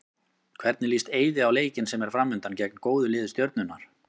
Hvernig líst Eiði á leikinn sem er framundan, gegn góðu lið Stjörnunnar?